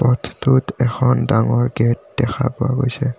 পথটোত এখন ডাঙৰ গেট দেখা পোৱা গৈছে।